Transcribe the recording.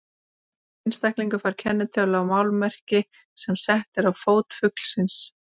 Hver einstaklingur fær kennitölu á málmmerki sem sett er á fót fuglsins.